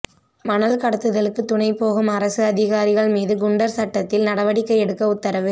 மணல் கடத்தலுக்கு துணை போகும் அரசு அதிகாரிகள் மீது குண்டர் சட்டத்தில் நடவடிக்கை எடுக்க உத்தரவு